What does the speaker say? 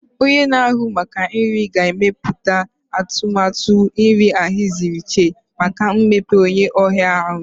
Onye na-ahụ maka nri ga-emepụta atụmatụ nri ahaziri iche maka mkpa onye ọrịa ahụ.